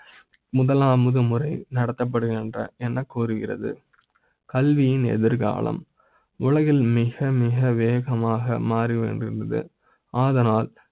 முதலா ம் உது முறை நடத்தப்படுகின்ற என்ன கூறுகிறது கல்வி யின் எதிர் காலம் உலகில் மிக மிக வேகமாக மாறி வேண்டி இருந்தது அதனால்